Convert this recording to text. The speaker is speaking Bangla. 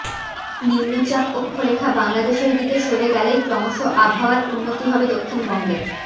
নিম্নচাপ অক্ষরেখা বাংলাদেশের দিকে সরে গেলেই ক্রমশ আবহাওয়ার উন্নতি হবে দক্ষিণবঙ্গে